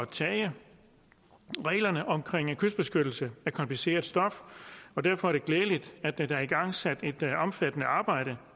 tage reglerne om kystbeskyttelse er kompliceret stof og derfor er det glædeligt at der er igangsat et omfattende arbejde